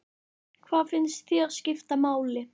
Hvað finnst þér skipta máli?